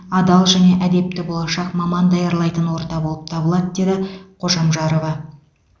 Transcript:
адал және әдепті болашақ маман даярлайтын орта болып табылады деді қожамжарова